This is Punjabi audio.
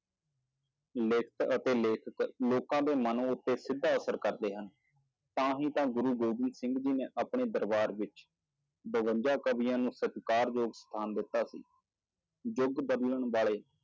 ਲਿਖਤ ਅਤੇ ਲੇਖਕ ਲੋਕਾਂ ਦੇ ਮਨ ਉੱਤੇ ਸਿੱਧਾ ਅਸਰ ਕਰਦੇ ਹਨ, ਤਾਂ ਹੀ ਤਾਂ ਗੁਰੂੂ ਗੋਬਿੰਦ ਸਿੰਘ ਜੀ ਨੇ ਆਪਣੇ ਦਰਬਾਰ ਵਿੱਚ ਬਵੰਜਾ ਕਵੀਆਂ ਨੂੰ ਸਤਿਕਾਰਯੋਗ ਸਥਾਨ ਦਿੱਤਾ ਸੀ, ਯੁੱਗ ਬਦਲਣ ਵਾਲੇ